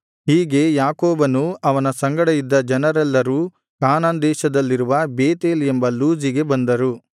ಹೀಗೆ ಯಾಕೋಬನೂ ಅವನ ಸಂಗಡ ಇದ್ದ ಜನರೆಲ್ಲರೂ ಕಾನಾನ್ ದೇಶದಲ್ಲಿರುವ ಬೇತೇಲ್ ಎಂಬ ಲೂಜಿಗೆ ಬಂದರು